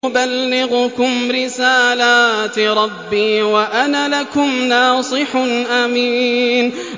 أُبَلِّغُكُمْ رِسَالَاتِ رَبِّي وَأَنَا لَكُمْ نَاصِحٌ أَمِينٌ